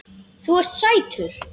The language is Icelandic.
Þú ert sætur!